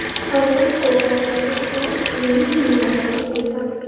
Harorat ko‘tariladi va iqlimiy me’yorlarga yetadi.